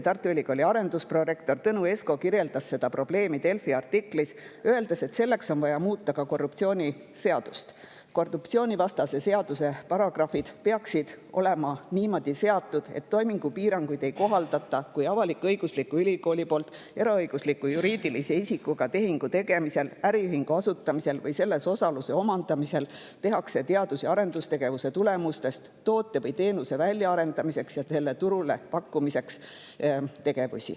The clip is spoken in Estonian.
Tartu Ülikooli arendusprorektor Tõnu Esko kirjeldas seda probleemi hiljuti Delfi artiklis, öeldes, et selleks on vaja muuta ka korruptsioonivastast seadust, mille paragrahvid peaksid olema seatud niimoodi, et toimingupiirangut ei kohaldata, kui avalik-õiguslik ülikool teeb tehinguid eraõigusliku juriidilise isikuga ja kui tänu äriühingu asutamisele või selles osaluse omandamisele kasutatakse teadus‑ ja arendustegevuse tulemusi toote või teenuse väljaarendamiseks ja selle turule pakkumiseks.